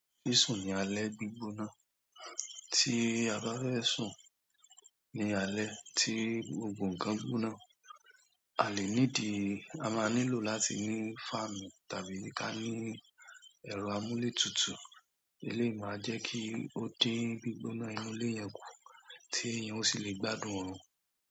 Sísún ní alẹ́ gbígbóná tí a bá fẹ́ sún ní alẹ́ tí gbogbo nǹkan gbóná. A lè nídi, a máa nílò láti ní fáànù tàbí ká ní ẹ̀rọ amúlé tutù. Iléyì máa jẹ́ kí ó dín gbígbóná inú ilé yẹn kù tí èèyàn ó sì lè gbádùn òórùn.